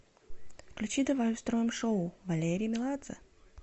включи давай устроим шоу валерий меладзе